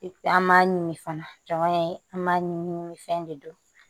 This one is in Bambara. an b'a ɲimi fana jɔn y'a ye an b'a ɲimi ɲimi fɛn de don